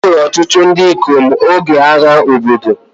Egburu ọtụtụ ndị ikom n'oge agha obodo